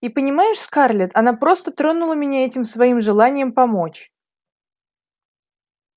и понимаешь скарлетт она просто тронула меня этим своим желанием помочь